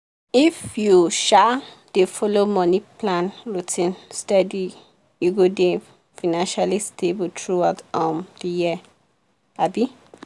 if you um dey follow money plan routine steady you go dey financially stable throughout um the year.